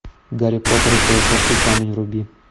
гарри поттер и философский камень вруби